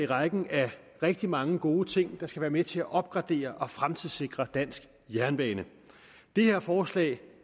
rækken af rigtig mange gode ting der skal være med til at opgradere og fremtidssikre dansk jernbane det her forslag